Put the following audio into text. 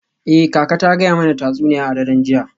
Eh, kaka ta gaya mana tatsuniya a daren jiya.